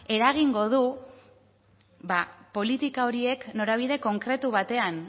eragingo du politika horiek norabide konkretu batean